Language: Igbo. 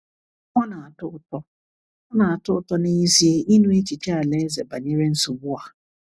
Ọ na-atọ ụtọ Ọ na-atọ ụtọ n'ezie ịnụ echiche Alaeze banyere nsogbu a.